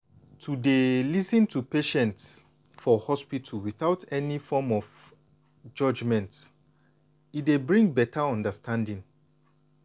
to dey lis ten to patients for hospital without any form of judgment e dey bring beta understanding.